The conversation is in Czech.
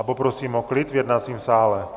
A poprosím o klid v jednacím sále.